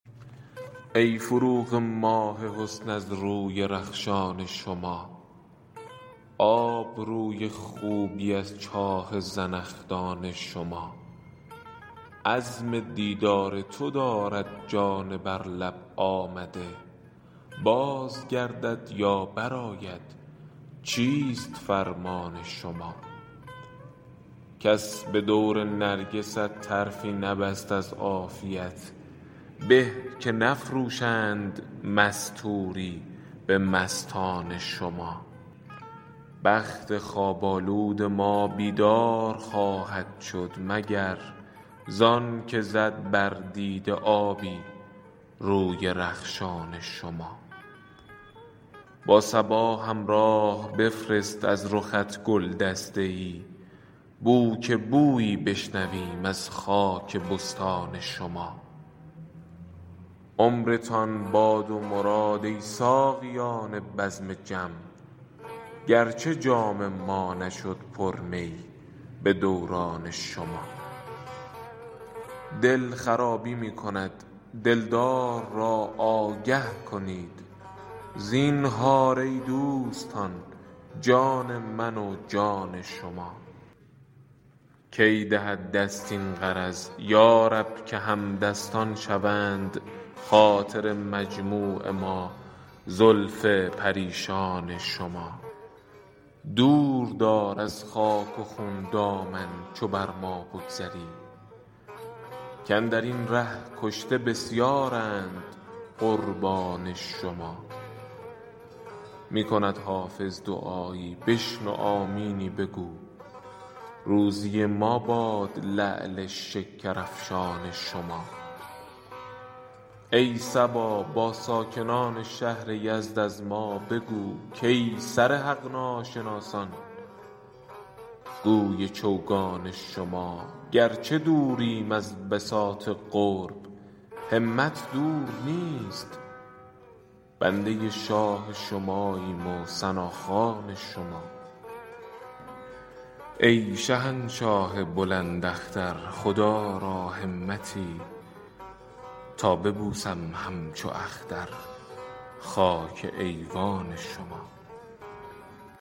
ای فروغ ماه حسن از روی رخشان شما آب روی خوبی از چاه زنخدان شما عزم دیدار تو دارد جان بر لب آمده باز گردد یا برآید چیست فرمان شما کس به دور نرگست طرفی نبست از عافیت به که نفروشند مستوری به مستان شما بخت خواب آلود ما بیدار خواهد شد مگر زان که زد بر دیده آبی روی رخشان شما با صبا همراه بفرست از رخت گل دسته ای بو که بویی بشنویم از خاک بستان شما عمرتان باد و مراد ای ساقیان بزم جم گرچه جام ما نشد پر می به دوران شما دل خرابی می کند دلدار را آگه کنید زینهار ای دوستان جان من و جان شما کی دهد دست این غرض یا رب که همدستان شوند خاطر مجموع ما زلف پریشان شما دور دار از خاک و خون دامن چو بر ما بگذری کاندر این ره کشته بسیارند قربان شما می کند حافظ دعایی بشنو آمینی بگو روزی ما باد لعل شکرافشان شما ای صبا با ساکنان شهر یزد از ما بگو کای سر حق ناشناسان گوی چوگان شما گرچه دوریم از بساط قرب همت دور نیست بنده شاه شماییم و ثناخوان شما ای شهنشاه بلند اختر خدا را همتی تا ببوسم همچو اختر خاک ایوان شما